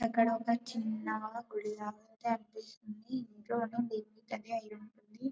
అక్కడ ఒక చిన్న గుడి లాగా అనిపిస్తుంది. ఇంట్లోను అయుంటుంది.